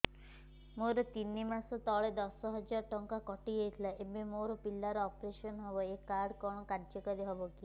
ମୋର ତିନି ମାସ ତଳେ ଦଶ ହଜାର ଟଙ୍କା କଟି ଯାଇଥିଲା ଏବେ ମୋ ପିଲା ର ଅପେରସନ ହବ ଏ କାର୍ଡ କଣ କାର୍ଯ୍ୟ କାରି ହବ